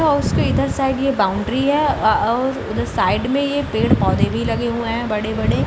उसके इधर साइड ये बाउंड्री है और उधर साइड में ये पेड़-पोधे भी लगे हुए हैं बड़े-बड़े --